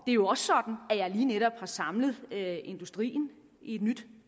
er jo også sådan at jeg lige netop har samlet industrien i et nyt